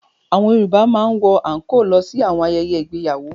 Àwọn Yorùbá máa ń wọ àńkóò lọ sí àwọn ayẹyẹ ìgbéyàwó.